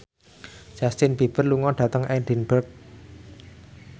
Justin Beiber lunga dhateng Edinburgh